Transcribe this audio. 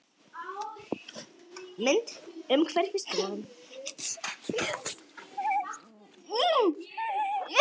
Mynd: Umhverfisstofnun